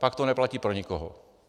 Pak to neplatí pro nikoho.